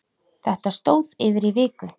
Þetta stóð yfir í viku.